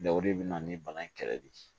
o de bɛ na ni bana in kɛlɛ de ye